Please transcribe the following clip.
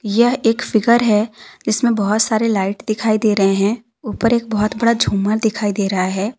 यह एक फिगर है इसमें बहोत सारे लाइट दिखाई दे रहे हैं ऊपर एक बहोत बड़ा झूमर दिखाई दे रहा है।